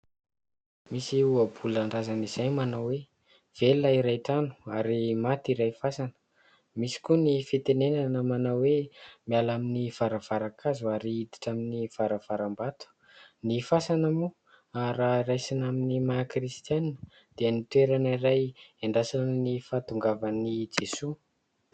Misy ohabolan-drazana izay manao hoe : "Velona iray trano ary maty iray fasana". Misy koa ny fitenena manao hoe : "Miala amin'ny varavaran-kazo ary hiditra amin'ny varavaram-bato". Ny fasana moa, ary raha raisina amin'ny maha kristianina, dia ny toerana iray hiandrasana ny fahatongavan'i Jesoa.